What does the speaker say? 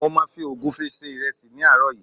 mo ma fi ogunfe se iresi ní àárò yìí